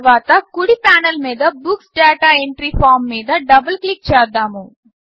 తర్వాత కుడి పానెల్ మీద బుక్స్ డాటా ఎంట్రీ ఫార్మ్ మీద డబుల్ క్లిక్ చేద్దాము